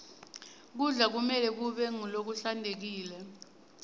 kudla kumelwe kube ngulokuhlantekile